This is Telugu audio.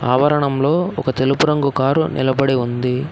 అవరణంలో ఒక తెలుపు రంగు కారు నిలబడి ఉంది.